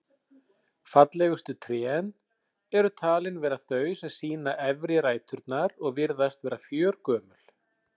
Fallegustu trén eru talin vera þau sem sýna efri ræturnar og virðast vera fjörgömul.